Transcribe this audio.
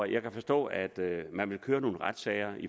jeg kan forstå at man vil køre nogle retssager